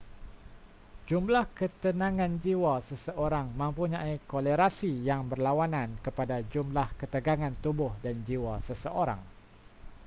jumlah ketenangan jiwa seseorang mempunyai kolerasi yang berlawanan kepada jumlah ketegangan tubuh dan jiwa seseorang